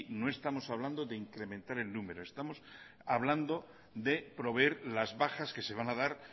no estamos hablando de incrementar el número estamos hablando de proveer las bajas que se van a dar